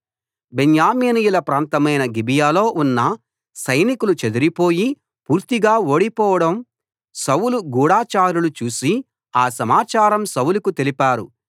బెన్యామీనీయుల ప్రాంతమైన గిబియాలో ఉన్న సైనికులు చెదిరిపోయి పూర్తిగా ఓడిపోవడం సౌలు గూఢచారులు చూసి ఆ సమాచారం సౌలుకు తెలిపారు